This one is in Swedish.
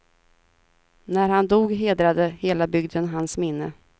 När han dog hedrade hela bygden hans minne.